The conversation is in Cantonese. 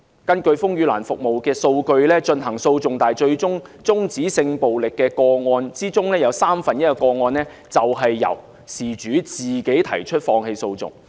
根據風雨蘭的服務數據，在提出訴訟但最後終止的性暴力個案之中，有三分之一的個案便是由事主自行放棄訴訟。